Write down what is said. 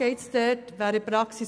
Worum geht es dort in der Praxis?